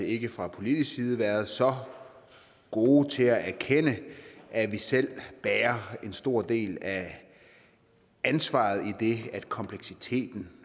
ikke fra politisk side været så gode til at erkende at vi selv bærer en stor del af ansvaret idet kompleksiteten